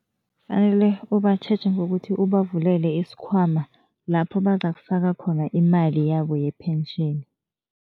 Kufanele ubatjheje ngokuthi ubavulele isikhwama lapho bazakufaka khona imali yabo ye-pension.